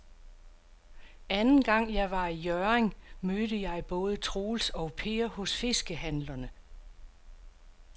Anden gang jeg var i Hjørring, mødte jeg både Troels og Per hos fiskehandlerne.